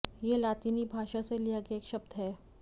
यह लातिनी भाषा से लिया गया एक शब्द है